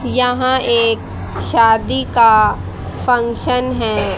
यहां एक शादी का फंक्शन है।